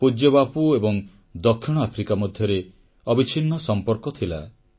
ପୂଜ୍ୟବାପୁ ଏବଂ ଦକ୍ଷିଣ ଆଫ୍ରିକା ମଧ୍ୟରେ ଅବିଚ୍ଛିନ୍ନ ସମ୍ପର୍କ ଥିଲା